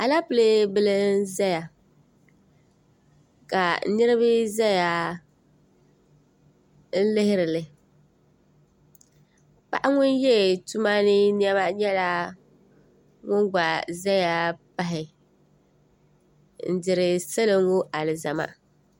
aleepile bila n-zaya ka niriba zaya n-lihiri li paɣa ŋun ye tuma ni nɛma nyɛla ŋun gba zaya pahi n-diri salo ŋɔ alizama